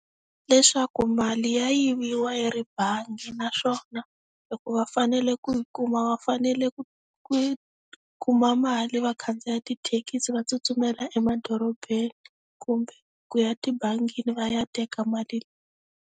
Leswaku mali ya yiviwa yi ri bangi naswona, loko va fanele ku yi kuma va fanele ku kuma mali va khandziya tithekisi va tsutsumela emadorobeni. Kumbe, ku ya tibangini va ya teka mali.